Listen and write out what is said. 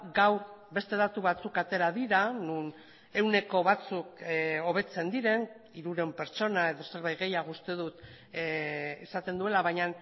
gaur beste datu batzuk atera dira non ehuneko batzuk hobetzen diren hirurehun pertsona edo zerbait gehiago uste dut esaten duela baina